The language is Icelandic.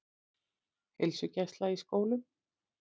Heilsugæsla í skólum